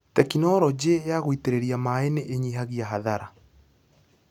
Tekinologĩ ya gũitĩrĩria maĩ nĩ ĩnyihagia hathara.